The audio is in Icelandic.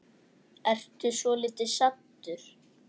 Ertu svolítið saddur?